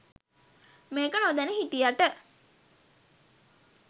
මේක නොදැන හිටියට